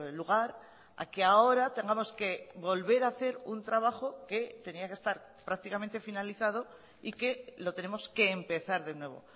lugar a que ahora tengamos que volver a hacer un trabajo que tenía que estar prácticamente finalizado y que lo tenemos que empezar de nuevo